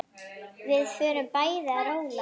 Við fórum bæði að róla.